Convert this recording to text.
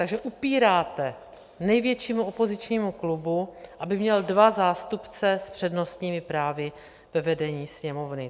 Takže upíráte největšímu opozičnímu klubu, aby měl dva zástupce s přednostními právy ve vedení Sněmovny.